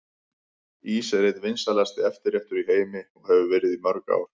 Ís er einn vinsælasti eftirréttur í heimi og hefur verið í mörg ár.